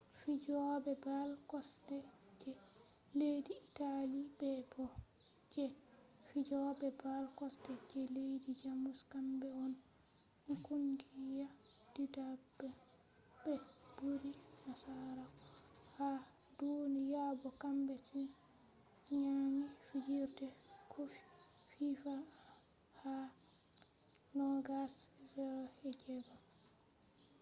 fijobe ball kosde je leddi italy be bo je fijobe ball kosde je leddi jamus kambe on kungiya didabre be buri nasarako ha duniya bo kambe on nyami fijirde kofi fifa ha 2006